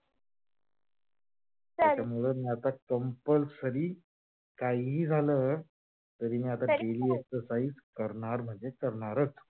त्याच्यामुळ मी आता compulsory कहिही झाल तरी मी आता daily exercise करणार म्हणजे करणारच.